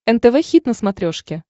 нтв хит на смотрешке